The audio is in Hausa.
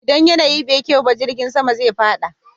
Idan yanayi bai kyau ba, jirgin sama zai fada.